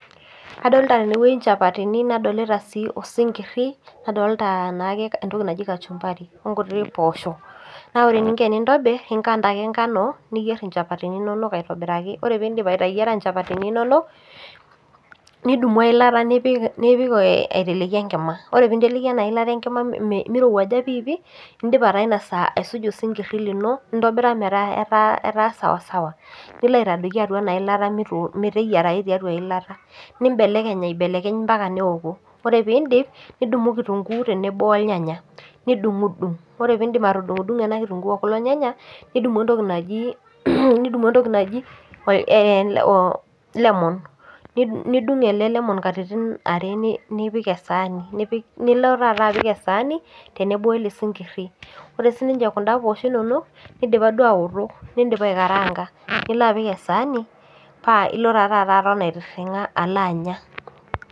Adolta tenewueji inchapatini nadolita sii osinkirri nadolta naake entoki naji kachumbari onkuti poosho naa ore eninko enintobirr inkata ake enkano niyierr inchapatini inonok aitobiraki ore pindip ateyiara inchapatini inonok nidumu eilata nipik nipik aiteleki enkima ore pinteleki ena ilata enkima mirowuaja piipi indipa taa ina saa aisuja osinkirri lino nintobira metaa etaa etaa sawa sawa nilo aitadoiki atua ena ilata mito meteyiarai tiatua eilata nimbelekeny aibelekeny ampaka neoku ore pindip nidumu kitunguu tenebo olnyanya nidung'udung ore pindim atudung'o ena kitunguu okulo nyanya nidumu entoki naji nidumu entoki naji eh lemon nidung ele lemon katitin are nipik esaani nipik nilo taata apik esaani tenebo wele sinkirri ore sininche kunda poosho inonok nidipa duo awoto nindipa aekaranga nilo apik esaani paa ilo taa taata aton aitirring'a alo anya.